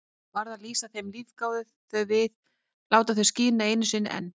Varð að lýsa þeim, lífga þau við, láta þau skína einu sinni enn.